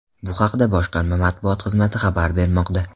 Bu haqda boshqarma matbuot xizmati xabar bermoqda .